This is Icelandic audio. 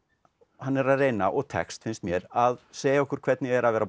hann er að reyna og tekst finnst mér að segja okkur hvernig er að vera